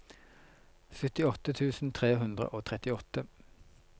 syttiåtte tusen tre hundre og trettiåtte